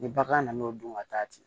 Ni bagan nana o dun ka taa